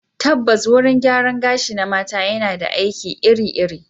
Tabbas, wurin gyaran gashi na mata yana ba da aiki iri-iri.